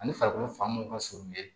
Ani farikolo fan mun ka surun ye